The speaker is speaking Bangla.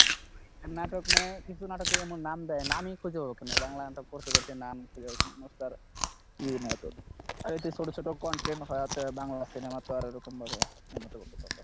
নাটক মানে কিছু নাটকের এমন নাম দেয় নামই খুঁজে হোক না বাংলা নাটক করতে করতে নাম খুঁজে আর এতে ছোট ছোট content হওয়াতে বাংলা সিনেমা তো আর ওরকম ভাবে উন্নত করতে পারতাসে না।